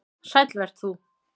Sæll vert þú.